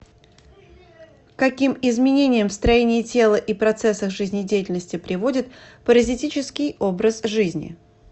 к каким изменениям в строении тела и процессах жизнедеятельности приводит паразитический образ жизни